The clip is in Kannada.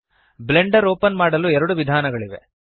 ಬ್ಲೆಂಡರ್ ಓಪನ್ ಮಾಡಲು ಎರಡು ವಿಧಾನಗಳಿವೆ